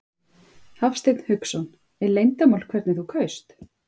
Hafsteinn Hauksson: Er leyndarmál hvernig þú kaust?